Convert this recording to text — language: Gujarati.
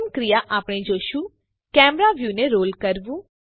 પ્રથમ ક્રિયા આપણે જોશું કેમેરા વ્યુને રોલ કરવું